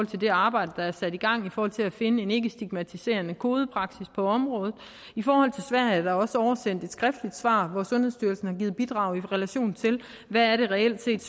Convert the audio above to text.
til det arbejde der er sat i gang i forhold til at finde en ikkestigmatiserende kodepraksis på området i forhold til sverige er der også oversendt et skriftligt svar hvor sundhedsstyrelsen har givet bidrag i relation til hvad det reelt set